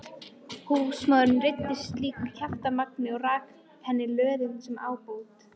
Húsmóðirin reiddist slíku kjaftamagni og rak henni löðrung sem ábót.